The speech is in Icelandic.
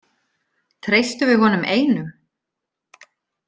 Treystum við honum einum?